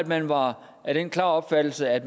man var af den klare opfattelse at